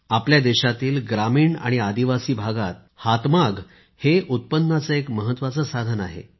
आपल्या देशातील ग्रामीण आणि आदिवासी भागात हातमाग उत्पन्नाचे एक महत्त्वाचे साधन आहे